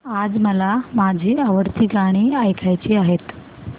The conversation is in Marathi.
आज मला माझी आवडती गाणी ऐकायची आहेत